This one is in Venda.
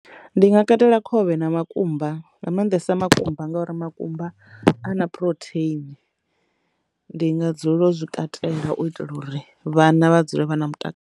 Ndi nga katela khovhe na makumba nga maanḓesa makumba ngauri makumba a na phurotheini ndi nga dzulela u zwi katela u itela uri vhana vha dzule vha na mutakalo.